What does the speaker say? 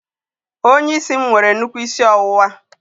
Onye isi m nwere nnukwu isi ọwụwa